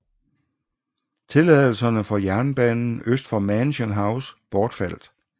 Tilladelserne for jernbanen øst for Mansion House bortfaldt